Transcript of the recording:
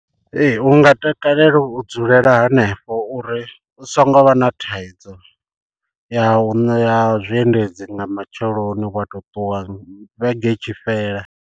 Ee u nga takalela u dzulela hanefho uri u so ngo vha na thaidzo ya u ya zwi endedzi nga matsheloni wa to ṱuwa vhege i tshi fhela.